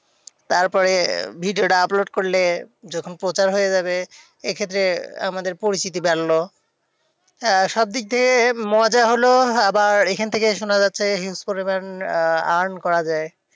তারপরে video টা upload করলে যখন প্রচার হয়ে যাবে, এক্ষেত্রে আমাদের পরিচিতি বাড়লো। আহ সবদিক থেকে মজা হলো। আবার এখন থেকে শোনো যাচ্ছে, huge পরিমান earn করা যায়।